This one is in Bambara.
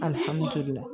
Alihamudulila